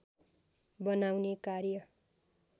बनाउने कार्य